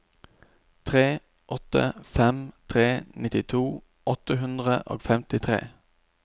tre åtte fem tre nittito åtte hundre og femtitre